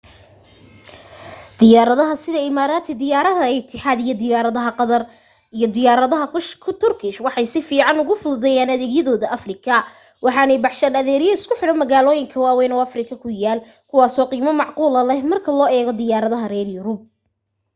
diyaaradaha sida imaraati diyaaradda itixaad diyaarada qatar & diyaaradaha turkish waxay si fiican ugu fududeeyeen adeegyadoodii afrika waxaanay baxshaan adeegyo isku xidha magaalooyin waawayn oo afrika ku yaal kuwaaso qiimo macquula leh marka loo eego diyaaradaha reer yurub